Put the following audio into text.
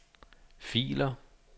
filer